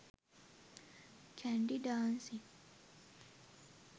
kandy dancing